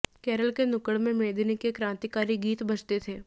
केरल के नुक्कड़ में मेदिनी के क्रांतिकारी गीत बजते थे